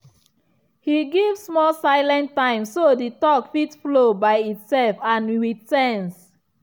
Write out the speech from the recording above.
he give small silent time so the talk fit flow by itself and with sense.